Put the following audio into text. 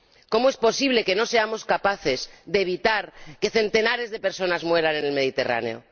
¿Cómo es posible que no seamos capaces de evitar que centenares de personas mueran en el Mediterráneo?